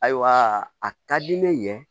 Ayiwa a ka di ne ye